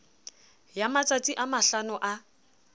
ya matsatsi a mahlano a